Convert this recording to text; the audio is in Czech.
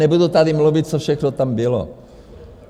Nebudu tady mluvit, co všechno tam bylo.